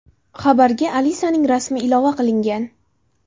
Xabarga Alisaning rasmi ilova qilingan.